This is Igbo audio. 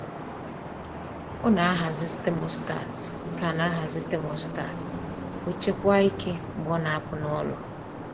O na-ahazi thermostat ka na-ahazi thermostat ka o chekwaa ike mgbe ọ na-apụ n'ụlọ.